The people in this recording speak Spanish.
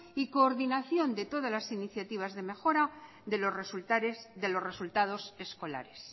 y coordinación de todas las iniciativas de mejora de los resultados escolares